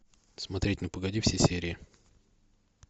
смотреть ну погоди все серии